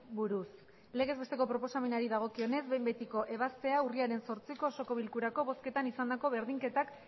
buruz legez besteko proposamenari dagokionez behin betiko ebaztea urriaren zortziko osoko bilkurako bozketan izandako berdinketak